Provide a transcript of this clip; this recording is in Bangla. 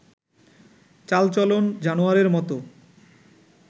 চাল-চলন জানোয়ারের মত